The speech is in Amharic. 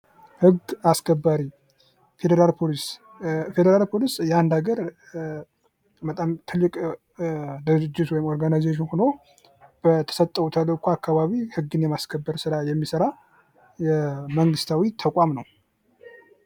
ህግ አስከባሪ ፌደራል ፖሊስ ፌደራል ፖሊስ የአንድ ሀገር ትልቅ ድርጅት ወይም ኦርጋናይዜሽን ሁኖ በተሰጠው ተልኮ አካባቢ ህግን የማስከበር ስራ የሚሰራ የመንግስታዊ ተቋም ነው።